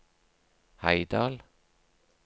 Heidal